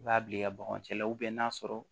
I b'a bila i ka bagan cɛ la n'a sɔrɔ